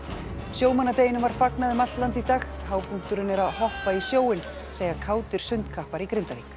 sjómannadeginum var fagnað um allt land í dag hápunkturinn er að hoppa í sjóinn segja kátir sundkappar í Grindavík